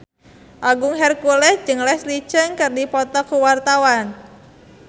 Agung Hercules jeung Leslie Cheung keur dipoto ku wartawan